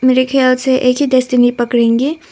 मेरे ख्याल से एक ही डेस्टिनी पकड़ेंगे।